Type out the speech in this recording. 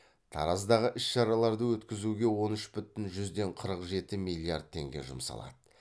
тараздағы іс шараларды өткізуге он үш бүтін жүзден қырық жеті миллиард теңге жұмсалады